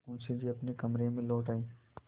मुंशी जी अपने कमरे में लौट आये